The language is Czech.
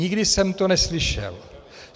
Nikdy jsem to neslyšel.